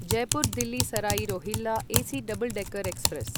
Jaipur Delhi Sarai Rohilla AC double decker express